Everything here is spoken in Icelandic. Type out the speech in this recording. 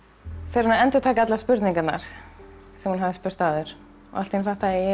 fer hún að endurtaka allar spurningarnar sem hún hafði spurt að áður og allt í einu fattaði ég